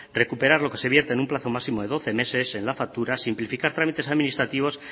recuperar lo que se vierte en un plazo máximo de doce meses en las facturas simplificar trámites administrativos